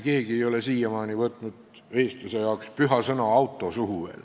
Keegi ei ole siiamaani veel võtnud suhu eestlase jaoks püha sõna "auto".